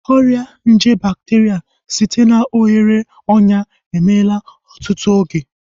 Ọrịa nje bakteria site na oghere ọnyà emeela ọtụtụ oge